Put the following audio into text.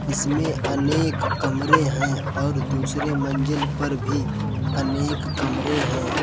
इसमें अनेक कमरे हैं और दूसरे मंजिल पर भी अनेक कमरे हैं।